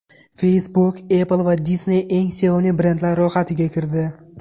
Facebook, Apple va Disney eng sevimli brendlar ro‘yxatiga kirdi.